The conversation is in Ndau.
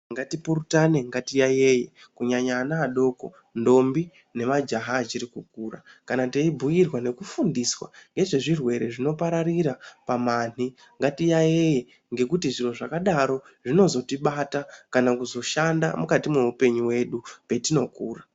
Ngatipurutane, ngatiyaiye kunyanya ana adoko, ndombi nemajaha achiri kukura kana teibhuirwa nekuundiswa ngezvezvirwere zvinopararira pamanhi ngatiyaiye ngekuti zviro zvakadaro zvinozotibata kana kuzoshanda mukati mweupenyu hwedu petinokura.